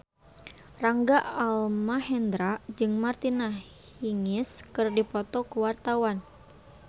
Rangga Almahendra jeung Martina Hingis keur dipoto ku wartawan